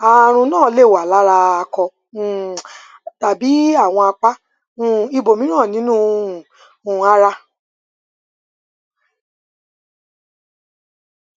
ààrùn náà lè wà lára akọ um tàbí àwọn apá um ibòmíràn nínú um ara